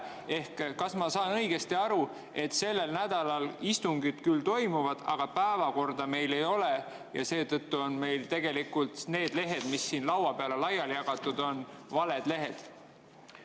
Ehk kas ma saan õigesti aru, et sellel nädalal istungid küll toimuvad, aga päevakorda meil ei ole ja seetõttu on need lehed, mis siin laudade peale laiali jagatud on, tegelikult valed lehed?